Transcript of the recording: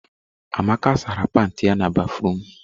Amaka sara pantị ya na béfrụm.